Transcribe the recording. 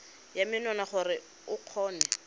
ya menwana gore o kgone